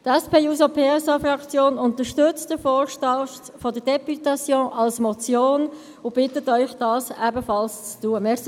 Die SP-JUSO-PSA-Fraktion unterstützt den Vorstoss der Députation als Motion und bittet Sie, dies ebenfalls zu tun.